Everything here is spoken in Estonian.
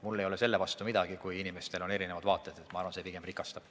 Mul ei ole selle vastu midagi, kui inimestel on erinevad vaated, ma arvan, et see pigem rikastab.